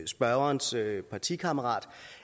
spørgerens partikammerat